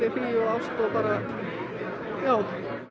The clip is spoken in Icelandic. ást og bara já